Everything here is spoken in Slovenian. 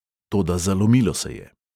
Toda zalomilo se je.